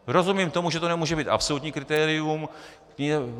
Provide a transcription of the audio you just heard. Rozumím tomu, že to nemůže být absolutní kritérium.